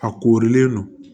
A koorilen don